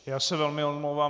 Já se velmi omlouvám.